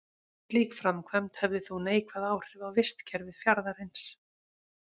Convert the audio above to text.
Slík framkvæmd hefði þó neikvæð áhrif á vistkerfi fjarðarins.